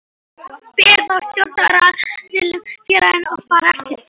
Ber þá stjórnaraðilum í félaginu að fara eftir því.